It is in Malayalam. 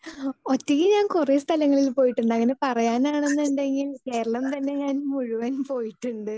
സ്പീക്കർ 2 ഒറ്റയ്ക്ക് ഞാൻ കുറെ സ്ഥലങ്ങളിൽ പോയിട്ടുണ്ട് അങ്ങനെ പറയാനാണെന്നുണ്ടെങ്കിൽ കേരളം തന്നെ ഞാൻ മുഴുവൻ പോയിട്ടുണ്ട്.